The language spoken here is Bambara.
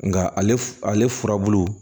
Nka ale furabulu